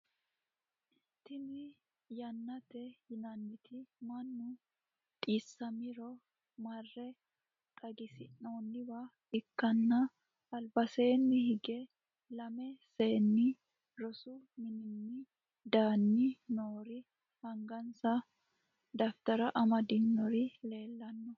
tini yaaneeti yinanniti mannu dhissamiro mare xagisirannowa ikkanna albaseeni hige lamme seeni rosu mininni danni noori angansa dafitara amadinori leellanno.